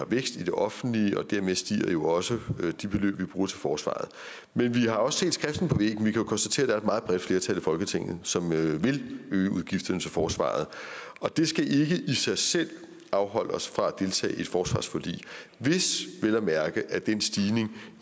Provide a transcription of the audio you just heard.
vækst i det offentlige og dermed stiger også de beløb vi bruger til forsvaret men vi har også set skriften på vi kan jo konstatere at et meget bredt flertal i folketinget som vil øge udgifterne til forsvaret det skal ikke i sig selv afholde os fra at deltage i et forsvarsforlig hvis vel at mærke den stigning